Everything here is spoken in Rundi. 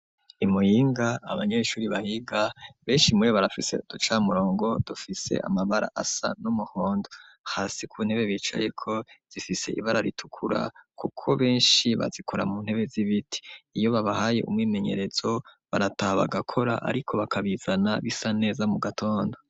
I Muyinga abanyeshuri bahiga, benshi muribo barafise uduca murongo, dufise amabara asa n'umuhondo, hasi ku ntebe bicayeko zifise ibara ritukura, kuko benshi bazikora mu ntebe z'ibiti, iyo babahaye umwimenyerezo barataha bagakora ariko bakabizana bisa neza mu gatondo.